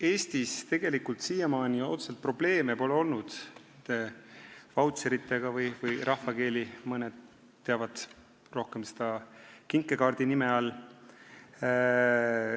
Eestis tegelikult siiamaani otseselt probleeme pole olnud nende vautšeritega, mida rahvakeeli mõned teavad rohkem kinkekaardi nime all.